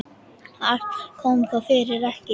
Allt kom þó fyrir ekki.